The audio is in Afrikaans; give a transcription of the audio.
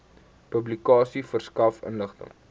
publikasie verskaf inligting